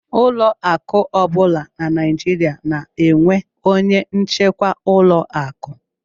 Ụlọ akụ ọ bụla na Naijiria na-enwe onye njikwa ụlọ akụ